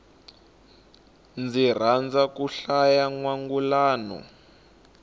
ndzi rhandza ku hlaya nwangulano